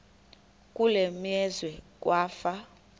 kule meazwe kwafa